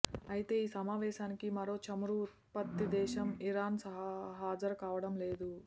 అయితే ఈ సమావేశానికి మరో చమురు ఉత్పత్తిదేశం ఇరాన్ హాజరుకావడంలేదు